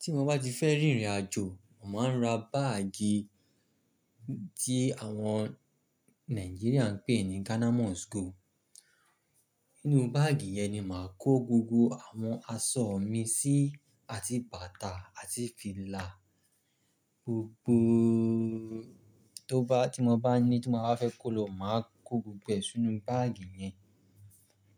Tí mo bá ti fẹ́ rìnrìn àjò, màá ra báàgì tí àwọn Nigerian ń pè ní Ghana must go. Inú báàgì yẹn ni màá kó gbogbo àwọn aṣọ mi sí, àti bàtà àti fìlà, gbogbo tó bá ti mo bá ní tí mo bá fẹ́ kó lọ, màá kó gbogbo ẹ́ sínú báàgì yẹn.